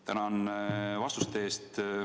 Tänan vastuste eest!